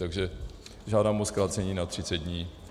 Takže žádám o zkrácení na 30 dní.